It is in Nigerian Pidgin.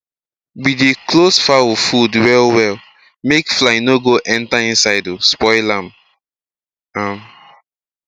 we dey close fowl food well well make fly for no go enter inside um spoil am um am um